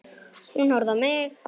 Hún horfir á mig.